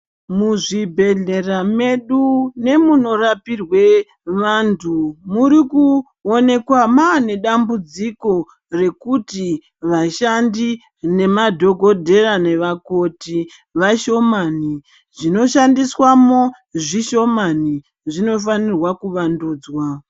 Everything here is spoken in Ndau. Muzvibhedhlera medu nemunorapirwe vantu muri kuonekwa maa nedambudziko rekuti vashandi nemadhogodheya nevakoti vashomani, zvinoshandiswamo zvishomani. Zvinofanirwa kuvandudzwa.